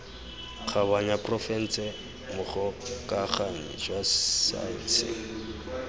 kgabanya porofense mogokaganyi wa saense